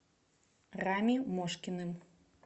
рами мошкиным